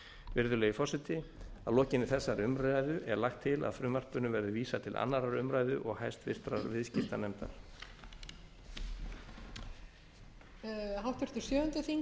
virðulegi forseti að lokinni þessari umræðu er lagt til að frumvarpinu verði vísað til annarrar umræðu og háttvirtur viðskiptanefndar